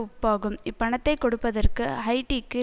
ஒப்பாகும் இப்பணத்தை கொடுப்பதற்கு ஹைய்ட்டிக்கு